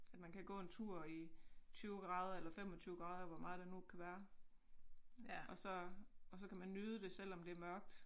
At man kan gå en tur i 20 grader eller 25 grader hvor meget det nu kan være og så og så kan man nyde det selvom det mørkt